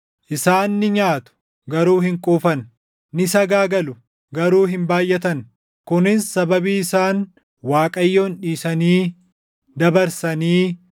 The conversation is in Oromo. “Isaan ni nyaatu; garuu hin quufan; ni sagaagalu; garuu hin baayʼatan; kunis sababii isaan Waaqayyoon dhiisanii dabarsanii